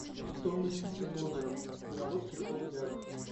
стоимость пяти долларов в белорусских рублях